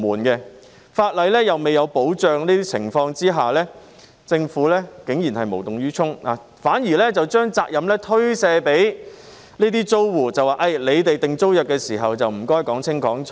在法例未有保障的情況下，政府竟然無動於衷，反而將責任推卸給租戶，請他們訂定租約時說清楚。